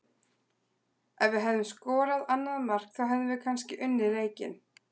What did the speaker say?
Ef við hefðum skorað annað mark þá hefðum við kannski unnið leikinn.